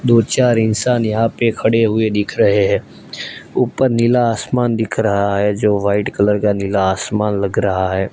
दो चार इंसान यहां पे खड़े हुए दिख रहे हैं ऊपर नीला आसमान दिख रहा है जो वाइट कलर का नीला आसमान लग रहा है।